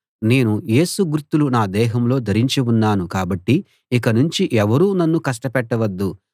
నేను యేసు గుర్తులు నా దేహంలో ధరించి ఉన్నాను కాబట్టి ఇకనుంచి ఎవరూ నన్ను కష్టపెట్టవద్దు